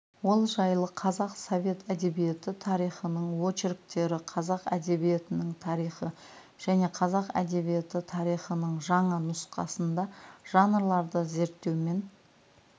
ол жайлы қазақ совет әдебиеті тарихының очерктері қазақ әдебиетінің тарихы және қазақ әдебиеті тарихының жаңа нұсқасында жанрларды зерттеумен